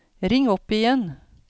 ring opp igjen